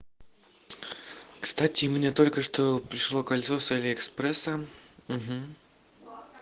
кстати мне только что пришло кольцо с алиэкспресса угу